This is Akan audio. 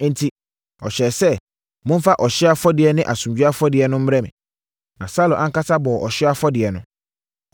Enti, ɔhyɛɛ sɛ, “Momfa ɔhyeɛ afɔdeɛ ne asomdwoeɛ afɔdeɛ no mmrɛ me.” Na Saulo ankasa bɔɔ ɔhyeɛ afɔdeɛ no.